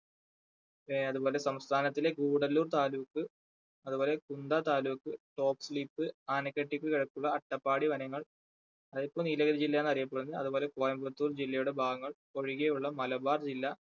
ആ അതുപോലെ സംസ്ഥാനത്തിലെ ഗൂഡല്ലൂർ താലൂക്ക് അതുപോലെ കുണ്ട താലൂക്ക് ആനക്കട്ടി അട്ടപ്പാടി വനങ്ങൾ അതൊക്കെ നീലഗിരി ജില്ലയെന്നാ അറിയപ്പെടുന്നത്. അതുപോലെ കോയമ്പത്തൂർ ജില്ലയുടെ ഭാഗങ്ങൾ ഒഴികെയുള്ള മലബാർ ജില്ലാ